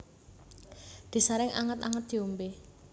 Disaring anget anget diombe